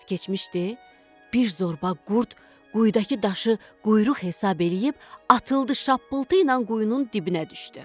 Bir az keçmişdi, bir zorba qurd quyudakı daşı quyruq hesab eləyib atıldı şappıltı ilə quyunun dibinə düşdü.